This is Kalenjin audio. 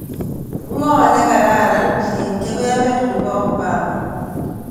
Ng'o ne kararan eng' keberber ne po Obama